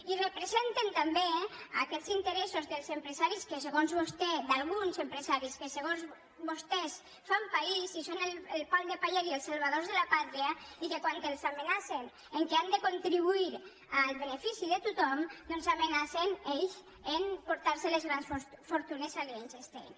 i representen també aquests interessos dels empresaris d’alguns empresaris que segons vostès fan país i són el pal de paller i els salvadors de la pàtria i que quan els amenacen que han de contribuir al benefici de tothom doncs amenacen ells a emportar se les grans fortunes a liechtenstein